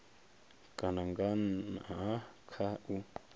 kana nga nha kha u